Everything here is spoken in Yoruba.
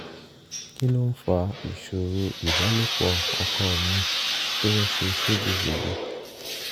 kí ló ń fa ìṣòro ìbálòpọ̀ ọkọ mi tó ń ṣe ségesège